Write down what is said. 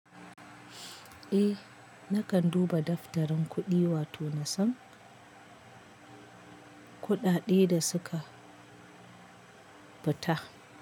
Eh, nakan duba daftarin kuɗi wato na san kuɗaɗe da suka ɓata.